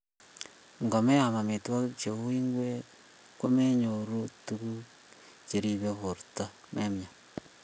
Ngomeam amitwogik cheu ingwek komenyoru tuguk cheribe borta memnyan